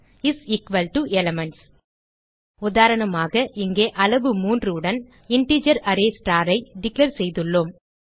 is equal to elements உதாரணமாக இங்கே அளவு 3 உடன் integer array star i declare செய்துள்ளோம்